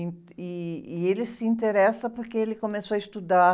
E, ih, e ele se interessa porque ele começou a estudar